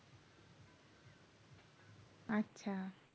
আচ্ছা